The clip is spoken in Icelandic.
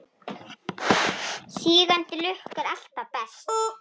Sígandi lukka er alltaf best.